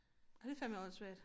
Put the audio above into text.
Det fandeme åndssvagt